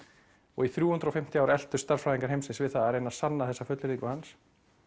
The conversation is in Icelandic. og í þrjú hundruð og fimmtíu ár eltust stærðfræðingar heimsins við það að reyna að sanna þessa fullyrðingu hans